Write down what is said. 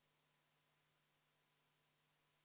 Kõigepealt isikut tõendavate dokumentide kiirkorras kohta.